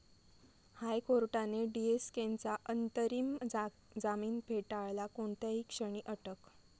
हायकोर्टाने डीएसकेंचा अंतरिम जामीन फेटाळला, कोणत्याही क्षणी अटक